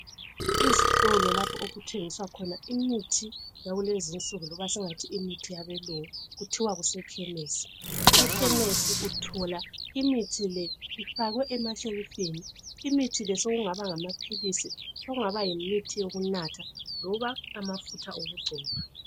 Izitolo lapho okuthengiswa khona imithi yakulezi insuku loba esingathi imithi yabelungu kuthiwa kusekhemesi. Ekhemesi uthola imithi le ifakwe emashelifini. Imithi le sokungaba ngamaphilisi, sokungaba yimithi yokunatha loba amafutha okugcoba.